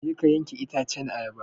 Je ka yanke itacen ayaba!